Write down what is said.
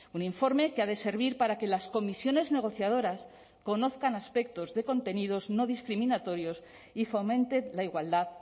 un informe que ha de servir para que las comisiones negociadoras conozcan aspectos de contenidos no discriminatorios y fomente la igualdad